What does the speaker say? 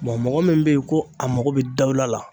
mɔgɔ min be yen ko a mako bɛ dawula la .